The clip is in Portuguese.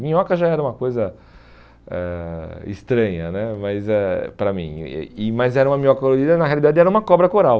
Minhoca já era uma coisa ãh estranha né mas eh para mim e e, mas era uma minhoca colorida, na realidade era uma cobra coral.